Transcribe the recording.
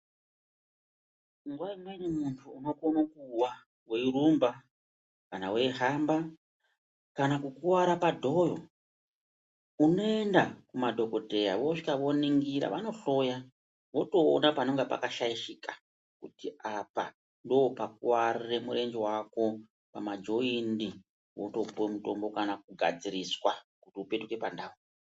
Nguwa imweni munthu unokona kuwa weirumba kana weihamba kana kukuwara padhoyo unoenda kumadhokodheya wosvika voningira vanohloya votoona panenge pakashaishika kuti apa ndoo pakuwarire murenje wako kana joyini wotopuwa mutombo kana kugadziriswa kuti upetuke pandau.